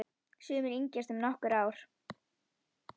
Sumir yngjast um nokkur ár.